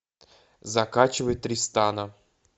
закачивай тристана